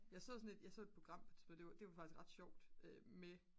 jeg så sådan et jeg så et program på et tidspunkt det var faktisk ret sjovt med